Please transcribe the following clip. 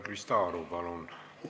Krista Aru, palun!